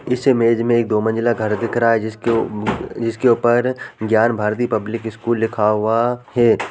इस इमेज में एक दो मंज़िला घर दिख रहा है जिसके उ- जिसके ऊपर ज्ञान भारती पब्लिक स्कूल लिखा हुआ हे ।